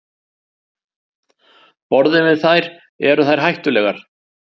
Borðum við þær, eru þær hættulegar?